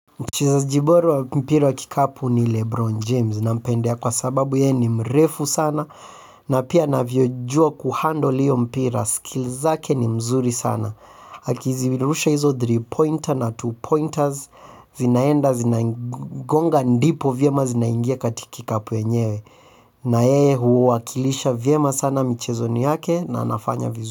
Mchezaji bora wa mpira wa kikapu ni Lebron James nampendea kwa sababu yeye ni mrefu sana na pia anavyojua kuhandle hiyo mpira skill zake ni mzuri sana. Akizirusha hizo three pointer na two pointers zinaenda zinagonga ndipo vyema zinaingia katika kikapu yenyewe na yeye huwakilisha vyema sana michezoni yake na anafanya vizuri.